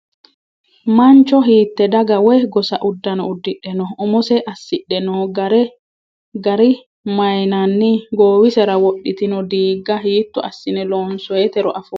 Mancho hiitte daga woyi gosa uddano uddidhe noo? Umose assidhe noo gare mayiinanni? Goowisera wodhitino diigga hiitto assine loonsoyiitero afoo?